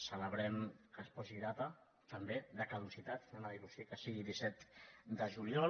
celebrem que es posi data també de caducitat anem a dir·ho així que sigui disset de juliol